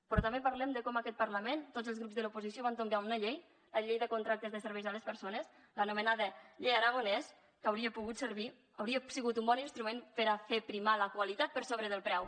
però també parlem de com en aquest parlament tots els grups de l’oposició van tombar una llei la llei de contractes de serveis a les persones l’anomenada llei aragonès que hauria pogut servir hauria sigut un bon instrument per a fer primar la qualitat per sobre del preu